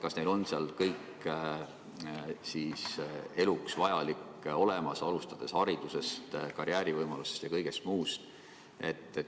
Kas neil on seal kõik eluks vajalik olemas, alustades haridusest, karjäärivõimalustest ja kõigest muust?